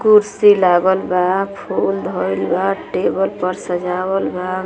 कुर्सी लागल बा। फूल धइल बा। टेबल पर सजावल बा।